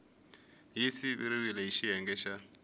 yi siviwile hi xiyenge xa